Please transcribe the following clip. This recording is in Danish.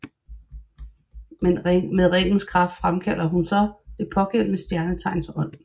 Med ringens kraft fremkalder hun så det pågældende stjernetegns ånd